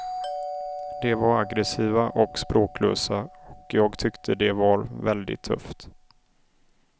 De var aggressiva och språklösa och jag tyckte det var väldigt tufft.